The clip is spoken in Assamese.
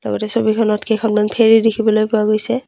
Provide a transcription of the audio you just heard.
গোটেই ছবিখনত কেইখনমান ফেৰী দেখিবলৈ পোৱা গৈছে।